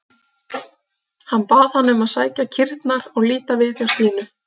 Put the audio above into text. Hann bað hana um að sækja kýrnar og líta við hjá Stínu.